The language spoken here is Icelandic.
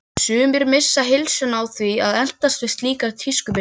Sumir missa heilsuna á því að eltast við slíkar tískubylgjur.